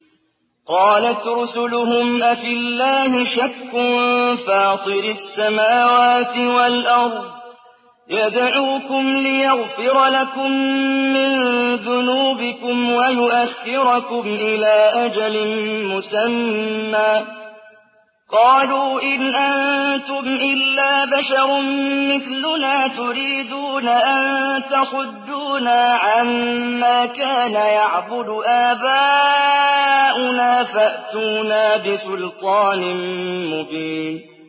۞ قَالَتْ رُسُلُهُمْ أَفِي اللَّهِ شَكٌّ فَاطِرِ السَّمَاوَاتِ وَالْأَرْضِ ۖ يَدْعُوكُمْ لِيَغْفِرَ لَكُم مِّن ذُنُوبِكُمْ وَيُؤَخِّرَكُمْ إِلَىٰ أَجَلٍ مُّسَمًّى ۚ قَالُوا إِنْ أَنتُمْ إِلَّا بَشَرٌ مِّثْلُنَا تُرِيدُونَ أَن تَصُدُّونَا عَمَّا كَانَ يَعْبُدُ آبَاؤُنَا فَأْتُونَا بِسُلْطَانٍ مُّبِينٍ